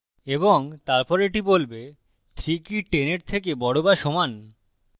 এবং তারপর এটি বলবে 3 কি 10 এর থেকে বড় বা সমান